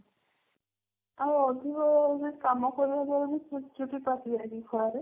ଆଉ ଅଧିକ ବି କାମ କରିବା ଫଳ ରେ ବି ଚୁଟି ପାଚିଯାଏ କି ଖରାରେ?